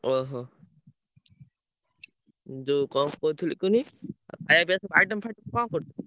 ଓହୋ! ଯୋଉ କଣ କହୁଥିଲି କୁହନି ଖାୟା ପିୟା ସବୁ item ଫାଇଟମ କଣ କରୁଚୁ?